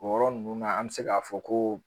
O yɔrɔ ninnu na an bɛ se k'a fɔ ko